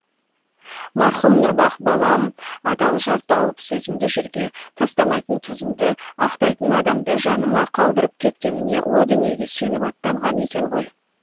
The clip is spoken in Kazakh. марқұм нұрбақ балам адал жар тауып сөзімді жерге тастамайтын тұзымды ақтайтын адамды жаныма қалдырып кеткеніне о дүниеге сеніп аттанған екен ғой